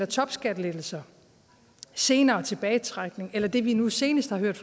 topskattelettelser senere tilbagetrækning eller det vi nu senest har hørt